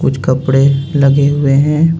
कुछ कपड़े लगे हुए हैं.